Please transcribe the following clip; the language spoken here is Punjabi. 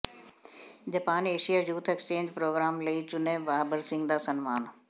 Japan Asia youth exchange programme ਲਈ ਚੁਣੇ ਬਾਬਰ ਸਿੰਘ ਦਾ ਸਨਮਾਨ